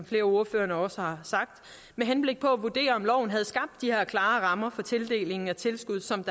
flere af ordførerne også har sagt med henblik på at vurdere om loven havde skabt de her klare rammer for tildelingen af tilskud som